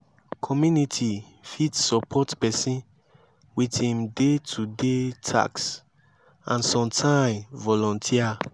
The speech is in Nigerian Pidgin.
community fit support person with im day to day task and sometime volunteer